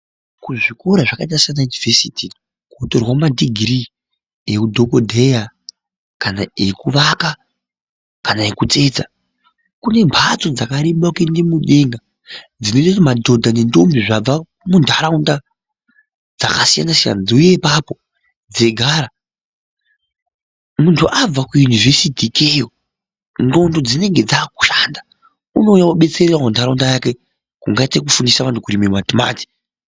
Kuzvikora zvakaita saana yunivhesiti kunotorwa ma degree eudhikodheya kana ekurapa kana ekutsetsa. Kune mphatso dzakarebe kuende mudenga dzinoite kuti madhodha nendombi dzemuntharaunda dzakasiyanasiyana dziuye ipapo dzeigara. Munthu abva kuyunivhesiti ikeyo ndxondo dzinenge dzaakushanda unouya odetserawo ntharaunda yake kungaite kufundisa vanthu kurime matimati.